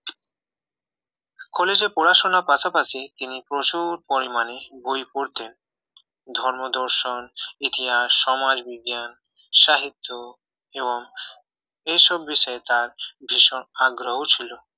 কলেজে পড়াশোনার পাশাপাশি তিনি প্রচুর পরিমাণে বই পড়তেন ধর্ম দর্শন ইতিহাস সমাজবিজ্ঞান সাহিত্য এবং এইসব বিষয়ে তার ভীষণ আগ্রহ ছিল